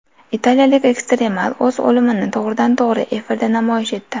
Italiyalik ekstremal o‘z o‘limini to‘g‘ridan-to‘g‘ri efirda namoyish etdi.